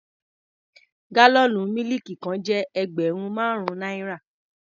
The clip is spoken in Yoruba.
Gálọ̀nú mílìkì kan jẹ́ ẹgbẹ̀rún márùn-ún náírà.